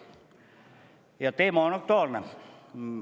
Ja teema on aktuaalne.